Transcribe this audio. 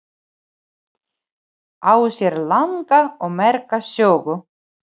Á sér langa og merka sögu.